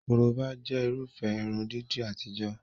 Korobá jẹ́ Irúfẹ́ irun dídì àtijọ́